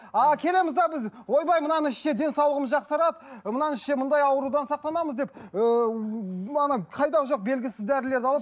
а келеміз де біз ойбай мынаны ішсе денсаулығымыз жақсарады мынаны ішсе мындай аурудан сақтанамыз деп ыыы қайдағы жоқ белгісіз дәрілерді алып